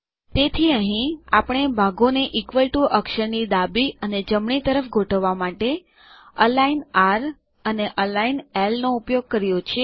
તેથી અહીં આપણે ભાગો ને ઇક્વલ ટીઓ અક્ષર ની ડાબી અને જમણી તરફ ગોઠવવા માટે અલિગ્ન આર અને અલિગ્ન એલ નો ઉપયોગ કર્યો છે